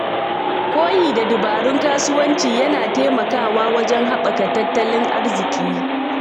Koyi da dabarun kasuwanci yana taimakawa wajen haɓaka tattalin arziki.